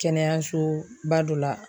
Kɛnɛyasoba dɔ la